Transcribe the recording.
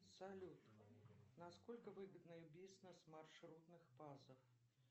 салют насколько выгодный бизнес маршрутных пазов